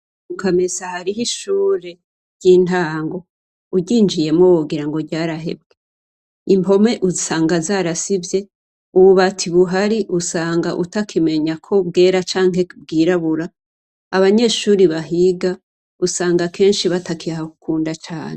Mukamesa har’ihishuri ,ry’intango. Uryinjiyemwo wogirango ryarahebwe. Impome usanga zarasivye, ububati buhari usanga utakimenya ko bwera canke ko bwirabura, abanyeshure bahiga ,usanga kenshi batakihakunda cane.